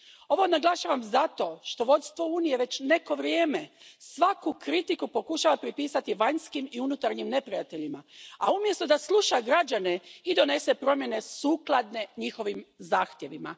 Ovo naglašavam zato što vodstvo Unije već neko vrijeme svaku kritiku pokušava pripisati vanjskim i unutarnjim neprijateljima, umjesto da sluša građane i donese promjene sukladne njihovim zahtjevima.